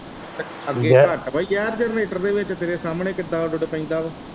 ਅੱਗੇ ਘੱਟ ਵਾਂ ਜ਼ਹਿਰ ਜਰਨੇਟਰ ਦੇ ਵਿੱਚ ਤੇਰੇ ਸਾਹਮਣੇ ਕਿੱਦਾ ਉੱਦੋ ਦਾ ਪੈਂਦਾ ਵਾਂ।